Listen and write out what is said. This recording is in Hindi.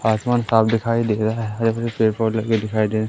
आसमान साफ दिखाई दिख रहा है हरे भरे पेड़ पौधे भी लगे हुए दिखाई दे--